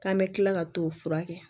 K'an bɛ tila ka t'o furakɛ